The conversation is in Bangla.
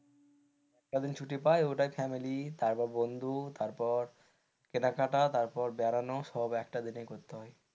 কদিন ছুটি পাই গোটা family তারপর বন্ধু তারপর কেনাকাটা তারপর বেড়ানোর সব একটা দিনে করতে হয়,